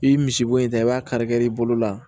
I ye misibo in ta i b'a kari kari i bolo la